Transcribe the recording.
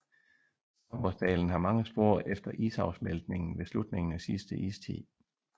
Stabbursdalen har mange spor efter isafsmeltningen ved slutningen af sidste istid